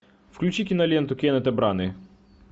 включи киноленту кеннета браны